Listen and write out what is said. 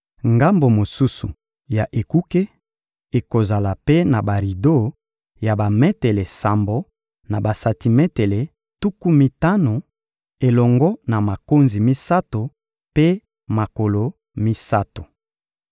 Ngambo mosusu ya ekuke ekozala mpe na barido ya bametele sambo na basantimetele tuku mitano, elongo na makonzi misato mpe makolo misato.